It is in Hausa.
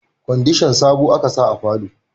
Kwandishan sabo a ka sa a falo